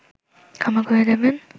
ক্ষমা করে দেবেন